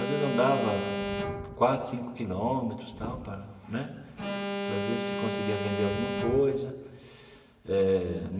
Às vezes, andava quatro, cinco quilômetros tal para né para ver se conseguia vender alguma coisa eh.